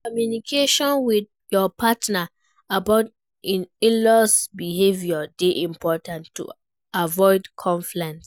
Communication with your partner about in-laws behavior dey important to avoid conflict.